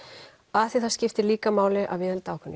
af því það skiptir líka máli að viðhalda ákveðnu